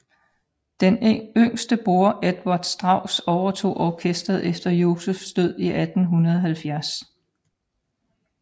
Den yngste bror Eduard Strauss overtog orkesteret efter Josephs død i 1870